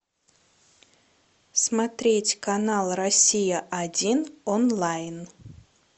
смотреть канал россия один онлайн